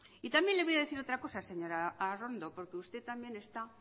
y también le voy a decir otra cosa señora arrondo porque usted también está